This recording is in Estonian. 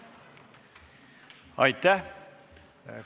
Aitäh!